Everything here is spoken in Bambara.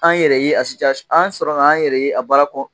An yɛrɛ ye a an sɔrɔ an y'an yɛrɛ ye a baara kɔnɔn !